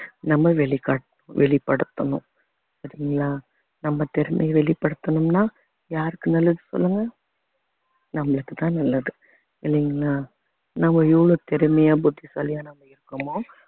நம்ம வெளிக~வெளிப்படுத்தணும் சரிங்களா நம்ம திறமைய வெளிப்படுத்தணும்ன்னா யாருக்கு நல்லது சொல்லுங்க நம்மளுக்குத்தான் நல்லது இல்லைங்களா நம்ம எவ்வளவு திறமையா புத்திசாலியா நம்ம இருக்கமோ